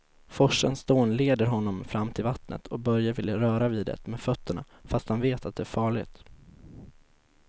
Forsens dån leder honom fram till vattnet och Börje vill röra vid det med fötterna, fast han vet att det är farligt.